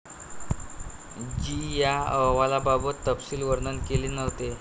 जी या अहवालात तपशील वर्णन केले नव्हते.